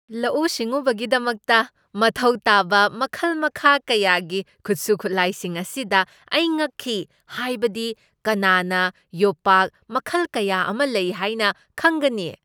ꯂꯧꯎ ꯁꯤꯡꯎꯕꯒꯤꯗꯃꯛꯇ ꯃꯊꯧ ꯇꯥꯕ ꯃꯈꯜ ꯃꯈꯥ ꯀꯌꯥꯒꯤ ꯈꯨꯠꯁꯨ ꯈꯨꯠꯂꯥꯏꯁꯤꯡ ꯑꯁꯤꯗ ꯑꯩ ꯉꯛꯈꯤ꯫ ꯍꯥꯏꯕꯗꯤ, ꯀꯅꯥꯅ ꯌꯣꯄꯥꯛ ꯃꯈꯜ ꯀꯌꯥ ꯑꯃ ꯂꯩ ꯍꯥꯏꯅ ꯈꯪꯒꯅꯤ?